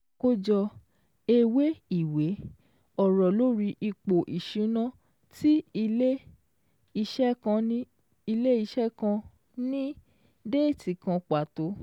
Àkójọ ewé ìwé: ọ̀rọ̀ lórí ipò ìṣúná tí ilẹ̀ ìṣe kan ní déètì kan pàtó